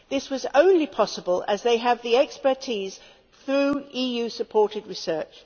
This was only possible because they have the expertise through EU supported research.